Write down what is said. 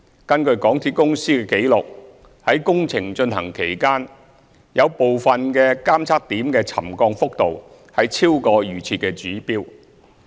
根據港鐵公司的紀錄，於工程進行期間，有部分監測點的沉降幅度超過預設指標。